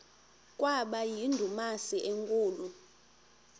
kwaba yindumasi enkulu